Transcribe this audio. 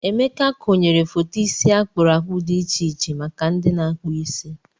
Emeka konyere foto isi akpụrụ akpụ dị iche iche maka ndị na-akpụ isi.